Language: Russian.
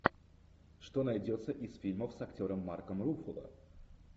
что найдется из фильмов с актером марком руффало